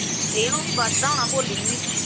ਇਹਨੂੰ ਬਚਦਾ ਹੋਣਾ ਭੋਲੀ ਨੂੰ ਵੀ